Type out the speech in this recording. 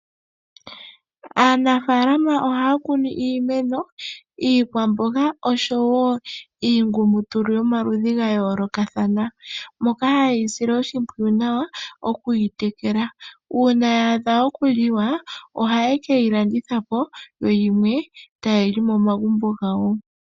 Aanafalama ohaya kunu iimeno, iikwamboga noshowo iingumutulu yomaludhi ga yoolokathana moka haye yi sile oshimpwiyu nawa okuyi tekela, uuna yaadha okuliwa ohaye keyi landitha po yo yimwe taye yi li momagumbo gawo.